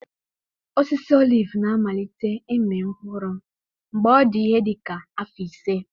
Osisi oliv na-amalite ịmị mkpụrụ mgbe ọ dị ihe dị ka afọ ise.